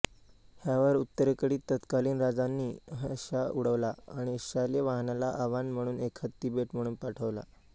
ह्यावर उत्तरेकडील तत्कालीन राजांनी हशा उडवला आणि शालिवाहनाला आवाहन म्हणून एक हत्ती भेट म्हणून पाठवला